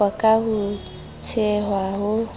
qoqwa ho a tshehwa ho